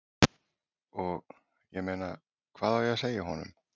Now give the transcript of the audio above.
Og, ég meina, hvað á ég að segja honum?